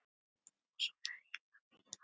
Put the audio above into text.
og svona líka fínar.